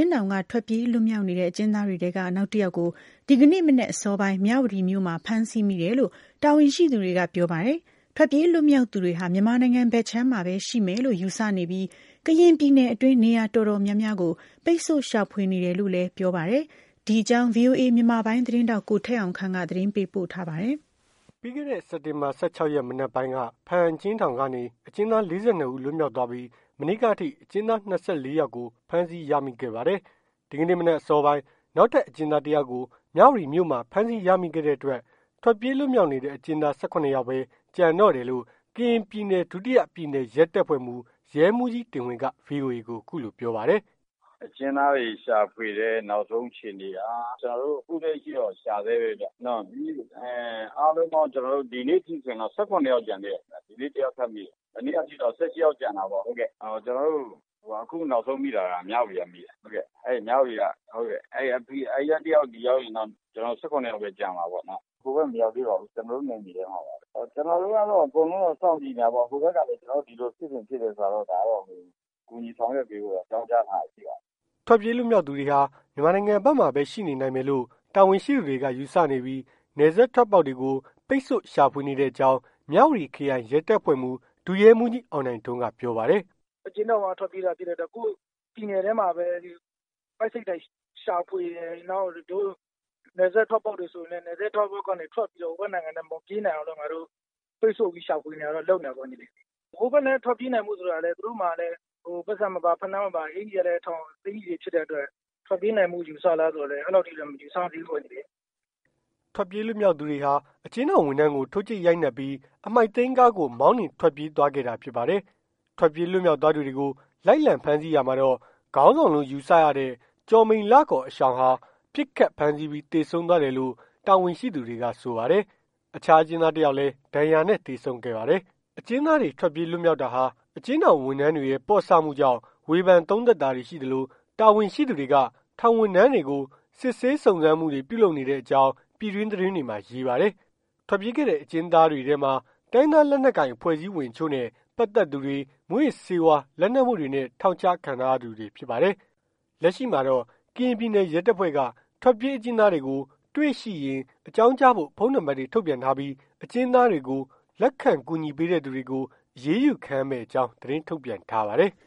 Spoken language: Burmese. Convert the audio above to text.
်းထောင်က ထွက်ပြေးလွတ်မြောက်နေတဲ့ အကျဉ်းသားတွေထဲက နောက် တယောက်ကို ဒီကနေ့ မနက်အစောပိုင်း မြဝတီမြို့မှာ ဖမ်းဆီးမိတယ်လို့ တာဝန်ရှိသူတွေက ပြောပါတယ်။ ထွက်ပြေးလွတ်မြောက်သူ တွေဟာ မြန်မာနိုင်ငံဘက်ခြမ်းမှာပဲ ရှိမယ်လို့ယူဆနေပြီး ကရင်ပြည်နယ်အတွင်း နေရာတော်တော်များ ပိတ်ဆို့ ရှာဖွေနေတယ်လို့ ဆိုပါတယ်။ ဒီအကြောင်း ဗွီအိုအေ မြန်မာပိုင်း သတင်းထောက် ကိုထက်အောင်ခန့်က သတင်းပေးပို့ထားပါတယ်။ ပြီးခဲ့တဲ့ စက်တင်ဘာ ၁၆ ရက် မနက်ပိုင်းက ဘားအံ့အကျဉ်းထောင်ကနေ အကျဉ်းသား ၄၂ ဦး လွတ်မြောက် သွားပြီး မနေ့ကအထိ အကျဉ်းသား ၂၄ ယောက်ကို ဖမ်းဆီးရမိခဲ့ပါတယ်။ ဒီကနေ့ မနက်အစောပိုင်း နောက်ထပ် အကျဉ်းသား ၁ ယောက်ကို မြဝတီမြို့မှာ ဖမ်းဆီးရမိခဲ့တဲ့အတွက် ထွက်ပြေး လွတ်မြောက်နေတဲ့ အကျဉ်းသား ၁၇ ယောက်ပဲ ကျန်တော့တယ်လို့ ကရင်ပြည်နယ် ဒုတိယပြည်နယ်ရဲတပ်ဖွဲ့မှူး ရဲမှူးကြီး တင်ဝင်းက ဗွီအိုအေ ကို ပြောပါတယ်။ "အကျဉ်းသားတွေရှာဖွေတဲ့ နောက်ဆုံးအခြေအနေက အခုလက်ရှိတော့ ရှာဆဲပဲဗျ။ အားလုံးပေါင်း ဒီနေ့အထိ ဆိုရင် ၁၇ ယောက်ကျန်သေးတယ်။ ဒီနေ့တယောက်ထပ်မိတယ်။ မနေ့ကအထိ ၁၈ ယောက် ကျန်တာပေါ့။ အခုနောက်ဆုံးမိတာ မြဝတီကမိတာ အဲ့က တယောက် ဒီရောက်ရင်တော့ ၁၇ ယောက်ပဲကျန်မှာပေါ့။ ဟိုဘက် မရောက်သေးပါဘူး။ ကျနော်တို့နယ်မြေထဲမှာပဲ။ ကျနော်တို့ ကတော့ အကုန်လုံးစောင့်ကြည့်နေတာပေါ့။ ဟိုဘက်ကတော့ ဒီလိုဖြစ်စဉ်ဖြစ်တယ်ဆိုတာကတော့ ကူညီဆောင်ရွက်ပေးဖို့ အကြောင်းကြားထားတာ ရှိပါတယ်။" ထွက်ပြေးလွတ်မြောက်သူတွေဟာ မြန်မာနိုင်ငံဘက်မှာပဲ ရှိနေနိုင်မယ်လို့ တာဝန်ရှိသူတွေက ယူဆနေပြီး နယ်စပ် ထွက်ပေါက်တွေကို ပိတ်ဆို့ ရှာဖွေနေတဲ့အကြောင်း မြဝတီခရိုင် ရဲတပ်ဖွဲ့မှူး ဒုရဲမှူးကြီး အောင်နိုင် ထွန်းက ပြောပါတယ်။ "အကျဉ်းထောင်က ထွက်ပြေးတာဖြစ်တဲ့အတွက် ကိုယ့်ပြည်နယ်ထဲမှာပဲ ပိုက်စိတ်တိုက်ရှာဖွေနေ တယ်။ နယ်စပ်ထွက်ပေါက်ကနေထွက်ပြီးတော့ ပိတ်ဆို့ပြီး ရှာဖွေတာနေတာတော့ လုပ်နေတာပေါ့။ ဟိုဘက်လည်း ထွက်ပြေးနိုင်ဖို့ဆိုတာကလည်း ပိုက်ဆံမပါ ဖိနပ်မပါ အကျီကလည်း ထောင် အကျီ တွေ ဖြစ်တဲ့ အတွက် ထွက်ပြေးနိုင်ဖို့ ယူဆလားဆိုရင် အဲ့လောက်ထိလည်း မယူဆသေးဘူးပေါ့။" ထွက်ပြေးလွတ်မြောက်သူတွေဟာ အကျဉ်းထောင်ဝန်ထမ်းကို ထိုးကြိတ်ရိုက်နှက်ပြီး အမှိုက်သိမ်း ကားကို မောင်းနှင်ထွက်ပြေးသွားခဲ့တာ ဖြစ်ပါတယ်။ ထွက်ပြေးလွတ်မြောက်သွားသူတွေကို လိုက်လံဖမ်းဆီးရာမှာတော့ ခေါင်းဆောင်လို့ ယူဆရတဲ့ ကျော်မိန်လ အရှောင်က ပစ်ခတ် ဖမ်းဆီးပြီး သေဆုံးသွားတယ်လို့ တာဝန်ရှိ သူတွေက ဆိုပါတယ်။ အခြား အကျဉ်းသား တယောက်လည်း ဒဏ်ရာနဲ့ သေဆုံးခဲ့ပါတယ်။ အကျဉ်းသားတွေ ထွက်ပြေးလွတ်မြောက်တာဟာ အကျဉ်းထောင် ဝန်ထမ်းတွေရဲ့ ပေါ့ဆမှုကြောင့် ဝေဖန် သုံးသပ်တာတွေရှိသလို တာဝန်ရှိသူတွေက ထောင်ဝန်ထမ်းတွေကို စစ်ဆေးစုံစမ်းနေကြောင်း ပြည်တွင်းသတင်းတွေမှာ ရေးပါတယ်။ ထွက်ပြေးခဲ့တဲ့ အကျဉ်းသားတွေထဲမှာ တိုင်းရင်းသား လက်နက်ကိုင် အဖွဲအစည်းဝင်အချို့နဲ့ ပတ်သက်သူတွေ မူးယစ်ဆေးဝါးမှု လက်မှုတွေနဲ့ ထောင်ချခံထားရသူတွေဖြစ်ပါတယ်။ လက်ရှိမှာတော့ ထွက်ပြေးအကျဉ်းသားတွေကို တွေ့ရှိရင် အကြောင်းကြားဖို့ ကရင်ပြည်နယ် ရဲတပ်ဖွဲ့က ဖုန်း နံပါတ်တွေ ထုတ်ပြန်ထားပြီး အကျဉ်းသားတွေကို လက်ခံကူညီပေးတဲ့သူတွေကို အရေးယူခံရမယ့်အကြောင်း သတင်းထုတ်ပြန်ထားပါတယ်။